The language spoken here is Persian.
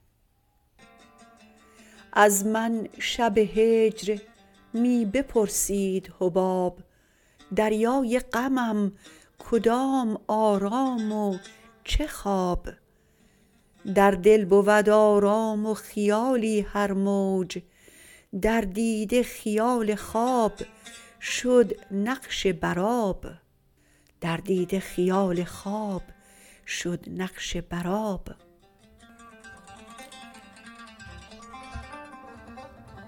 از من شب هجر می بپرسید حباب دریای غمم کدام آرام و چه خواب در دل بود آرام و خیالی هر موج در دیده خیال خواب شد نقش بر آب